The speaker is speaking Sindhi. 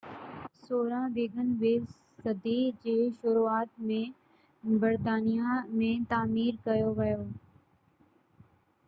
ويگن ويز 16 صدي جي شروعات ۾ برطانيا ۾ تعمير ڪيو ويو